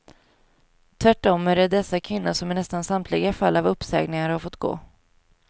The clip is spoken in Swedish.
Tvärtom är det dessa kvinnor som i nästan samtliga fall av uppsägningar har fått gå.